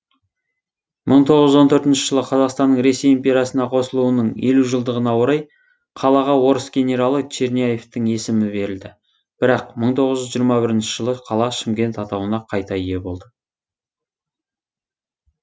мың тоғыз жүз он төртінші жылы қазақстанның ресей империясына қосылуының елу жылдығына орай қалаға орыс генералы черняевтің есімі берілді бірақ мың тоғыз жүз жиырма бірінші жылы қала шымкент атауына қайта ие болды